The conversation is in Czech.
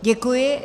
Děkuji.